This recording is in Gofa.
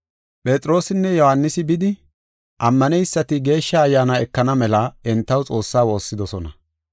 Phexroosinne Yohaanisi bidi, ammaneysati Geeshsha Ayyaana ekana mela entaw Xoossaa woossidosona.